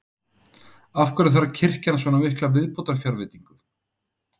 Af hverju þarf kirkjan svona mikla viðbótarfjárveitingu?